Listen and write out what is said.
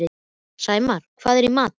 Sæmar, hvað er í matinn á fimmtudaginn?